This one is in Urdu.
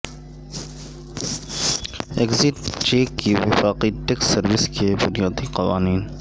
ایگزٹ چیک کی وفاقی ٹیکس سروس کے بنیادی قوانین